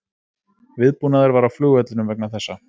Viðbúnaður var á flugvellinum vegna þessa